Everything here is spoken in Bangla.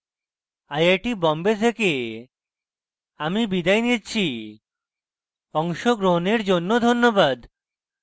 আই আই টী বম্বে থেকে আমি বিদায় নিচ্ছি অংশগ্রহনের জন্য ধন্যবাদ